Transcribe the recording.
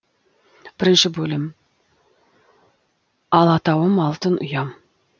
бірінші бөлім алатауым алтын ұям